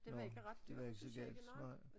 Nåh det var ikke så galt nej